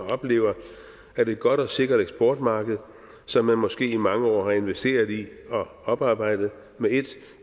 oplever at et godt og sikkert eksportmarked som man måske i mange år har investeret i og oparbejdet med ét